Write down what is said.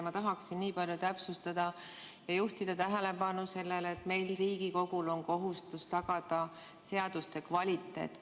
Ma tahaksin niipalju täpsustada ja juhtida tähelepanu sellele, et meil, Riigikogul, on kohustus tagada seaduste kvaliteet.